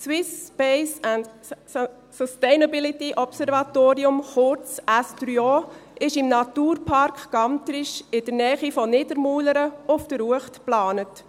Das Swiss Space & Sustainability Observatorium, kurz SO, ist im Naturpark Gantrisch, in der Nähe von Niedermuhlern, auf der Uecht geplant.